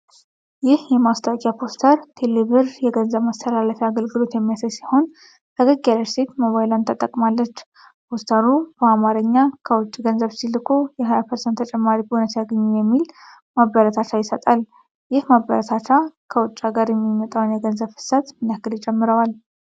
ይህ የማስታወቂያ ፖስተር ተለቢር የገንዘብ ማስተላለፊያ አገልግሎት የሚያሳይ ሲሆን፣ ፈገግ ያለች ሴት ሞባይሏን ተጠቅማለች። ፖስተሩ በአማርኛ "ከውጪ ገንዘብ ሲልኩ የ20% ተጨማሪ ቦነስ ያግኙ" የሚል ማበረታቻ ይሰጣል። ይህ ማበረታቻ ከውጭ ሀገር የሚመጣውን የገንዘብ ፍሰት ምን ያህል ይጨምረዋል?